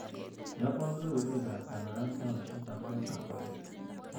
Iyokwo kebeberwekab kabarastaesiek akobo kambaket